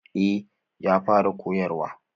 Eh ya fara koyarwa.